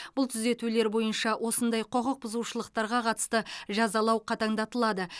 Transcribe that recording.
бұл түзетулер бойынша осындай құқық бұзушылықтарға қатысты жазалау қатаңдатылады